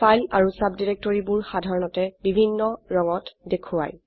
file আৰু সাবডিৰেক্টৰিবোৰ সাধাৰনতে বিভিন্ন ৰঙত দেখোৱায়